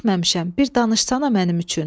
Eşitməmişəm, bir danışsana mənim üçün.